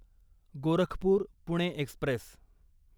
Gorakhpur Pune Express